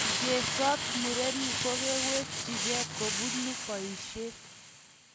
Ngetsot murenik kogawechgee kobonu boisiet